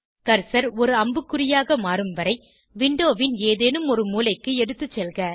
cursor ஒரு அம்புக்குறியாக மாறும் வரை விண்டோவின் ஏதேனும் ஒரு மூலைக்கு எடுத்துசெல்க